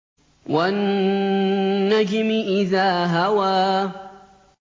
وَالنَّجْمِ إِذَا هَوَىٰ